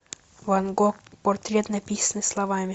ван гог портрет написанный словами